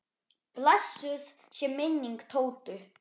Blessuð sé minning Tótu.